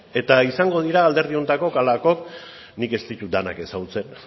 eta izango dira alderdi honetako nik ez ditut denak ezagutzen